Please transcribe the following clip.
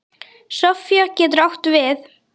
Sofía getur átt við